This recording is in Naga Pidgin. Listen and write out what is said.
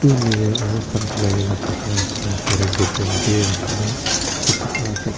mirror aru hath dhula bo le jaga etu lah oshor teh bhi rakhi na dikhi pa ase.